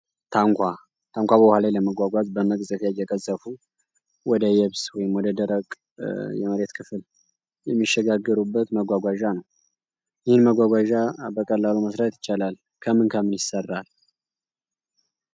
ታንኳ በውሃ ላይ ለመጓጓዝ በመቅ ዘፊያ የቀሰፉ ወደ የብስ ወይም ወደ ደረቅ የመሬት ክፍል የሚሸጋግሩበት መጓጓዣ ነው። ይህን መጓጓዣ በቀላሉ መስራት ይቻላል ከምን ከምን ይሰራል?